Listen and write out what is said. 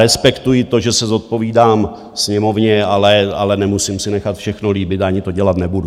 Respektuji to, že se zodpovídám Sněmovně, ale nemusím si nechat všechno líbit, ani to dělat nebudu.